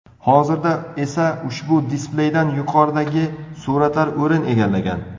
Hozirda esa ushbu displeydan yuqoridagi suratlar o‘rin egallagan.